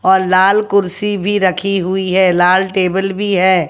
और लाल कुर्सी भी रखी हुई है लाल टेबल भी है।